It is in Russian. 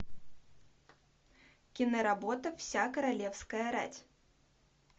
киноработа вся королевская рать